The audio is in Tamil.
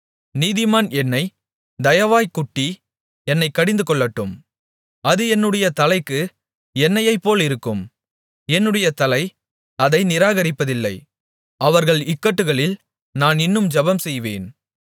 நீதிமான் என்னைத் தயவாய்க்குட்டி என்னைக் கடிந்துகொள்ளட்டும் அது என்னுடைய தலைக்கு எண்ணெயைப்போலிருக்கும் என்னுடைய தலை அதை நிராகரிப்பதில்லை அவர்கள் இக்கட்டுகளில் நான் இன்னும் ஜெபம்செய்வேன்